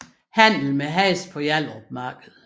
Handel med heste på Hjallerup Marked